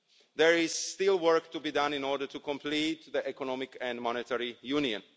There is still work to be done in order to complete the economic and monetary union.